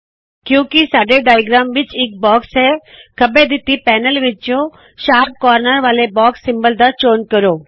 ਕਿਉਕਿ ਸਾਡੇ ਡਾਇਆਗ੍ਰਾਮ ਰੇਖਾ ਚਿੱਤਰ ਵਿੱਚ ਇੱਕ ਬਾਕਸ ਹੈ ਖੱਬੇ ਦਿੱਤੀ ਪੈਨਲ ਵਿੱਚੋ ਸ਼ਾਰਪ ਕੋਰਨਰ ਵਾਲੇ ਬਾਕਸ ਸਿੰਬੋਲ ਦਾ ਚੋਣ ਕਰੋ